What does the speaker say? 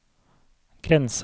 grense